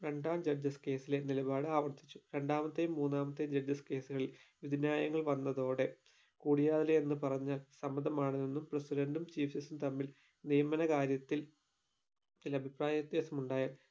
രണ്ടാം judges case ലെ നിലപാട് ആവർത്തിച്ചു രണ്ടാമത്തെയും മൂന്നാമത്തെയും judges case കളിൽ വിധിന്യായങ്ങൾ വന്നതോടെ കുടിയാലേ എന്ന് പറഞ്ഞാൽ സമ്മതമാണ് എന്നും president ഉം chief justice ഉം തമ്മിൽ നിയമന കാര്യത്തിൽ അഭിപ്രായ വ്യത്യാസം ഉണ്ടായാൽ